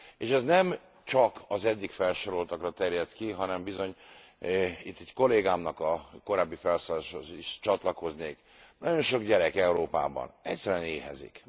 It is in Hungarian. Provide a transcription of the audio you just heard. És ez nem csak az eddig felsoroltakra terjed ki, hanem bizony itt egy kollégámnak a korábbi felszólalásához is csatlakoznék nagyon sok gyermek Európában egyszerűen éhezik.